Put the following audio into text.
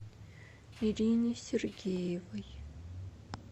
ирине сергеевой